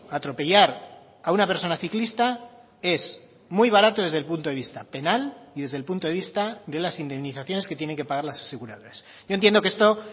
atropellar a una persona ciclista es muy barato desde el punto de vista penal y desde el punto de vista de las indemnizaciones que tienen que pagar las aseguradoras yo entiendo que esto